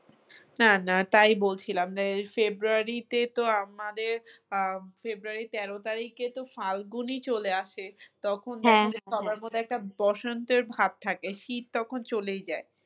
হ্যাঁ না তাই বলছিলাম যে february তে তো আমাদের আহ february র তেরো তারিখে তো ফাল্গুনই চলে আসে তখন সবার মধ্যে একটা বসন্তের ভাব থাকে শীত তখন চলেই যায়